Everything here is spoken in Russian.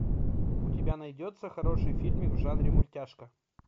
у тебя найдется хороший фильмик в жанре мультяшка